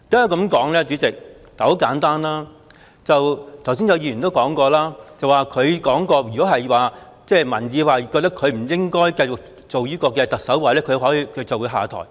代理主席，很簡單，剛才有議員亦提到，林鄭月娥曾表示，如果民意認為她不應該繼續擔任特首，她便會下台。